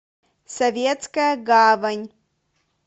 советская гавань